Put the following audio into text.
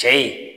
Cɛ in